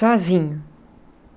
sozinho.